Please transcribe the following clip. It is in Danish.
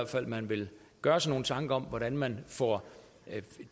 man vil gøre sig nogle tanker om hvordan man får